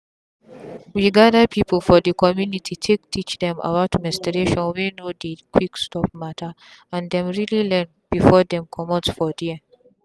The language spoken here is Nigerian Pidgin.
we gather people for the community take teach dem about menstruation wey no dey quick stop matterand them really learn before dem commot for there.